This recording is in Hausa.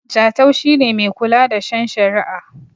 Jatau shi ne Mai kula da shen shari'a